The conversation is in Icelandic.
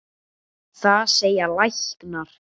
Það segja læknar.